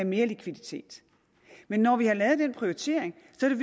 mere likviditet men når vi har lavet den prioritering